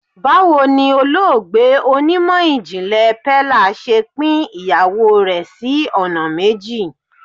Báwo ni olóògbé onímọ̀ ìjìnlè Pella ṣe pín ìyàwó rẹ̀ sí ọ̀nà méjì.